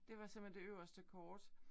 Det var simpelthen det øverste kort